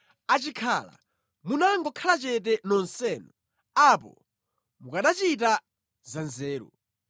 Achikhala munangokhala chete nonsenu! Apo mukanachita zanzeru.